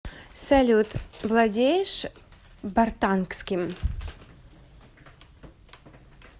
салют владеешь бартангским